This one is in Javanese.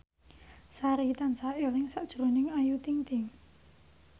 Sari tansah eling sakjroning Ayu Ting ting